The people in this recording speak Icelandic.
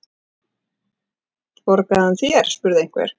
Borgaði hann þér? spurði einhver.